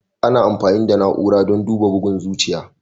Ana amfani da na'ura don duba bugun zuciya.